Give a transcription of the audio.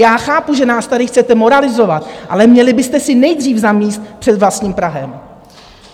Já chápu, že nás tady chcete moralizovat, ale měli byste si nejdříve zamést před vlastním prahem.